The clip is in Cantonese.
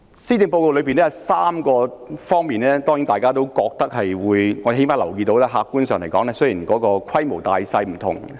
施政報告裏有3方面，大家都有些意見，至少我留意到客觀上是這樣，即使有關項目的規模不同、性質各異。